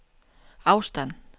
afstand